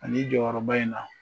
Ani jɔyɔrɔba in na,